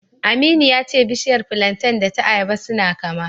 Aminu ya ce bishiyar filanten da ta ayaba suna kama.